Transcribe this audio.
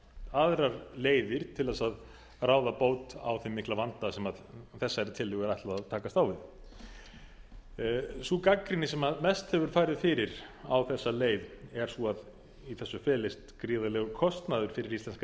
aðrar leiðir til þess að ráða bót á þeim mikla vanda sem þessari tillögu er ætlað að takast á við sú gagnrýni sem mest hefur farið fyrir á þessa leið er sú að í þessu felist gríðarlegur kostnaður fyrir íslenska